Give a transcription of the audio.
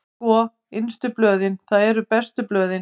Sko, innstu blöðin, það eru bestu blöðin.